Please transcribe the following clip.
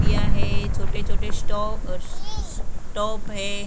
दिया हैं छोटे-छोटे स्टॉप टॉप हैं ।